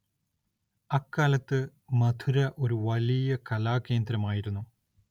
അക്കാലത്ത് മഥുര ഒരു വലിയ കലാകേന്ദ്രമായിരുന്നു.